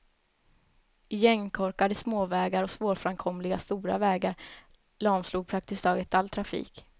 Igenkorkade småvägar och svårframkomliga stora vägar lamslog praktiskt taget all trafik.